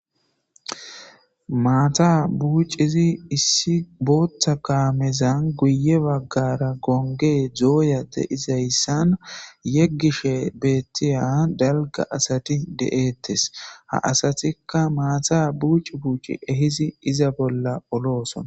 maata buucizi issi bootta kaamezan guye baggara gonge dooya de izayssan yeggishe beettiya dalga asati de7ettes ha asatikka maata buucu buuci ehizi iza bolla olooson